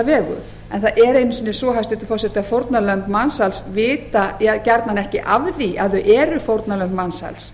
vegu en það er einu sinni svo hæstvirtur forseti að fórnarlömb mansals vita gjarnan ekki af því að þau eru fórnarlömb mansals